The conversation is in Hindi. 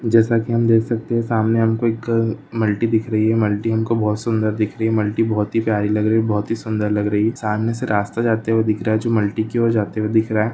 जैसा कि हम देख सकते हैं सामने हमको एक उम मल्टी दिख रही है मल्टी हमको बहुत सुंदर दिख रही है मल्टी बहुत ही प्यारी लग रही बहुत ही सुंदर लग रही है सामने से रास्ता जाते हुए दिख रहा है जो मल्टी की और जाते हुए दिख रहा है।